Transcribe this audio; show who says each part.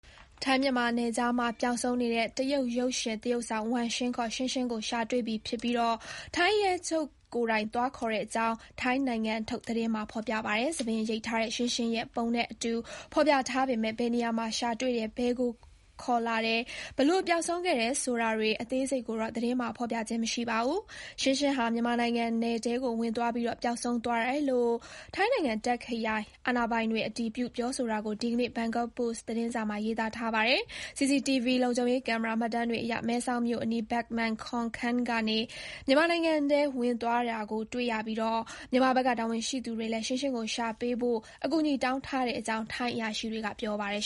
Speaker 1: ထိုင်းမြန်မာနယ်ခြားမှာ ပျောက်ဆုံးနေတဲ့ တရုတ် ရုပ်ရှင်သရုပ်ဆောင် Wang Xing ခေါ် Xingxing ကို ရှာတွေ့ပြီဖြစ်ပြီး ထိုင်းရဲချုပ် Thatchai Pitaneelabutr ကိုယ်တိုင်သွားခေါ်တဲ့အကြောင်း ထိုင်းနိုင်ငံထုတ် Khaosod သတင်းမှာ ဖေါ်ပြပါတယ်။ ဆံပင်ရိပ်ထားတဲ့ Xingxing ရဲ့ ပုံနဲ့အတူ ဖေါ်ပြထားပေမဲ့ ဘယ်နေရာမှာ ရှာတွေ့တယ်၊ ဘယ်ကို ခေါ်လာတယ်၊ ဘယ်လို ပျောက်ဆုံးခဲ့တယ်ဆိုတာတွေ အသေးစိတ်ကိုတော့ သတင်းမှာ ဖေါ်ပြခြင်း မရှိပါဘူး။ Xingxing ဟာ မြန်မာနိုင်ငံနယ်ထဲကို ဝင်သွားပြီး ပျောက်ဆုံးသွားတာလို့ ထိုင်းနိုင်ငံ Tak ခရိုင် အာဏာပိုင်တွေ အတည်ပြု ပြောဆိုတာကို ဒီနေ့ ဘန်ကောက်ပို့စ် သတင်းစာမှာ ရေးထားပါတယ်။ CCTV လုံခြုံရေးကင်မရာမှတ်တမ်းတွေအရ မဲဆောက်မြို့အနီး Ban Mae Kon Ken ကနေ မြန်မာနိုင်ငံထဲဝင်သွားတာကိုတွေ့ရပြီး မြန်မာဘက်က တာဝန်ရှိသူတွေလည်း Xingxing ကို ရှာပေးဖို့ အကူအညီတောင်းထားတဲ့အကြောင်း ထိုင်းအရာရှိတွေက ပြောပါတယ်